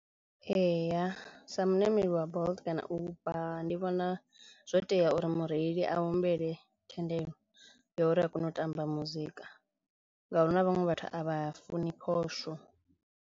Eya sa muṋameli wa Bolt kana Uber ndi vhona zwo tea uri mureili a humbele thendelo ya uri a kone u tamba muzika ngauri hu na vhaṅwe vhathu a vha funi phosho.